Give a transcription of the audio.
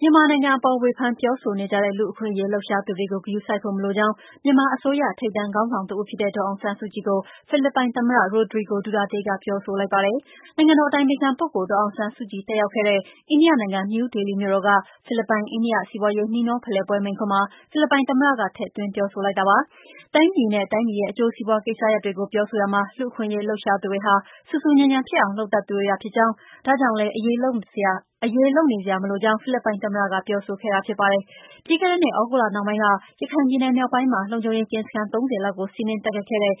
မြန်မာနိုင်ငံအပေါ် ဝေဖန်ပြောဆိုနေကြတဲ့ လူ့အခွင့်အရေး လှုပ်ရှားသူတွေကို ဂရုစိုက်ဖို့ မလိုကြောင်း မြန်မာအစိုးရ ထိပ်တန်း ခေါင်းဆောင်တဦးဖြစ်တဲ့ ဒေါ်အောင်ဆန်းစုကြည်ကို ဖိလစ်ပိုင်သမ္မတ Rodrigo Duterte က ပြောဆိုလိုက်ပါတယ်။ နိုင်ငံတော် အတိုင်ပင်ခံပုဂ္ဂိုလ် ဒေါ်အောင်ဆန်းစုကြည် တက်ရောက်ခဲ့တဲ့ အိန္ဒိယနိုင်ငံ နယူးဒေလီမြို့တော်က ဖိလစ်ပိုင်၊ အိန္ဒိယ စီးပွားရေး နှီးနှောဖလှယ်ပွဲ မိန့်ခွန်းမှာ ဖိလစ်ပိုင်သမ္မတက ထည့်သွင်းပြောဆိုလိုက်တာပါ။ တိုင်းပြည်နဲ့ တိုင်းပြည်ရဲ့ အကျိုးစီးပွား ကိစ္စတွေကို ပြောဆိုရာမှာ လူ့အခွင့်အရေး လှုပ်ရှားသူတွေဟာ ဆူဆူညံညံဖြစ်အောင် လုပ်တတ်သူတွေသာ ဖြစ်ကြောင်း၊ ဒါကြောင့်လည်း အရေးလုပ်နေစရာ မလိုကြောင်း ဖိလစ်ပိုင် သမ္မတက ပြောဆိုခဲ့တာဖြစ်ပါတယ်။ ပြီးခဲ့တဲ့နှစ် သြဂုတ်လနှောင်းပိုင်းက ရခိုင်ပြည်နယ် မြောက်ပိုင်းမှာ လုံခြုံရေးကင်းစခန်း ၃၀ လောက်ကို စီးနင်းတိုက်ခိုက်ခဲ့တဲ့